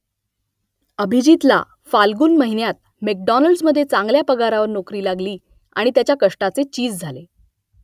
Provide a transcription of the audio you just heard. अभिजीतला फाल्गुन महिन्यात मॅकडॉनल्ड्समध्ये चांगल्या पगारावर नोकरी लागली आणि त्याच्या कष्टाचे चीज झाले